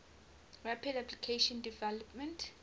rapid application development